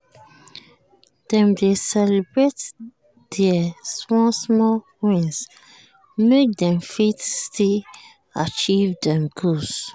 dem dey celebrate deir small-small wins make dem fit still achieve dem goals.